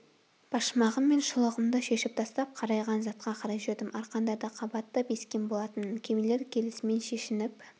башмағым мен шұлығымды шешіп тастап қарайған затқа қарай жүрдім арқандарды қабаттап ескен болатынмын кемелер келісімен шешініп